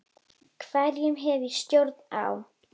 Hverju hef ég stjórn á?